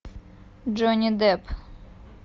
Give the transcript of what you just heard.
джонни депп